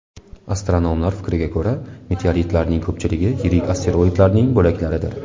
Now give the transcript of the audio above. Astronomlar fikriga ko‘ra, meteoritlarning ko‘pchiligi yirik asteroidlarning bo‘laklaridir.